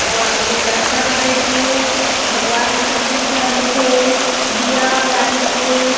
और गुलदासता बनाइल हे भगवान ह सफ़ेद कलर में हे दिया बारिन हे।